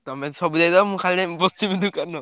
ତମେ ସବୁ ଦେଇଦବ ମୁଁ ଖାଲି ବସିବି ଦୋକାନ।